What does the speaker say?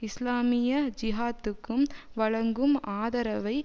இஸ்லாமிய ஜிஹாத்துக்கும் வழங்கும் ஆதரவை